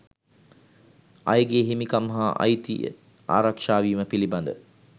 අයගේ හිමිකම් හා අයිතිය ආරක්ෂාවීම පිලිබඳ